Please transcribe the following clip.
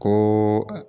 Ko